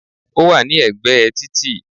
Ó wà ní ègbé e títì